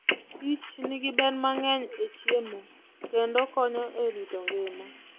kichnigi ber mang'eny e chiemo kendo konyo e rito ngima.